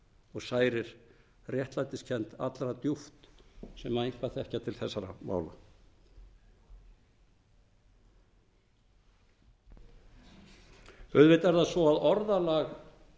og særir réttlætiskennd allra djúpt sem eitthvað þekkja til þessara mála auðvitað er það svo að orðalag